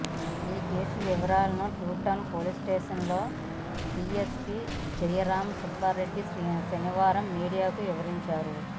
ఈ కేసు వివరాలను టూటౌన్ పోలీస్స్టేషన్లో డీఎస్పీ జయరామ సుబ్బారెడ్డి శనివారం మీడియాకు వివరించారు